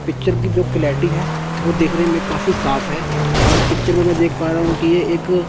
picture की जो clarity है वो देखने में काफी साफ है और पिक्चर में देख पा रहा हूं कि ये एक--